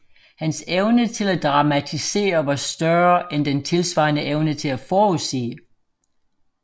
Hans evne til at dramatisere var større end den tilsvarende evne til at forudsige